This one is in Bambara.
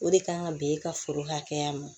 O de kan ka bɛn e ka foro hakɛya ma